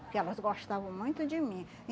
Porque elas gostavam muito de mim.